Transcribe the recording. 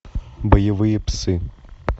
боевые псы